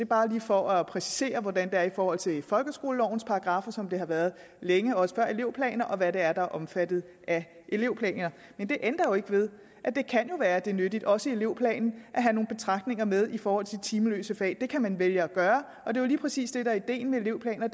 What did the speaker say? bare lige for at præcisere hvordan det er i forhold til folkeskolelovens paragraffer nemlig som det har været længe også før elevplaner og hvad det er der er omfattet af elevplaner men det ændrer jo ikke ved at det kan være at det er nyttigt også i elevplanen at have nogle betragtninger med i forhold til de timeløse fag det kan man vælge at gøre og det er jo lige præcis det der er ideen med elevplaner